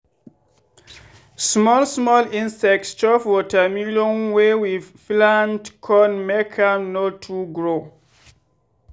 small small insects chop watermelon wey we plant con make am no too grow.